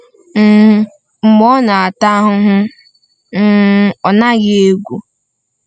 um Mgbe ọ na-ata ahụhụ, um ọ naghị egwu.”